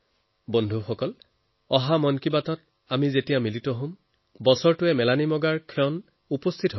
বন্ধুসকল অহাবাৰ যেতিয়া আমি মন কী বাতত লগ হম তেতিয়া ২০২০ৰ এই বছৰটো সমাপ্তিৰ দিশত হব